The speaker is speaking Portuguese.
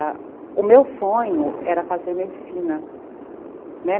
Ãh, o meu sonho era fazer medicina, né.